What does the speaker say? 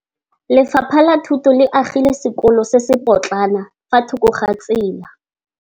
Lefapha la Thuto le agile sekôlô se se pôtlana fa thoko ga tsela.